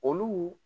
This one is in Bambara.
Olu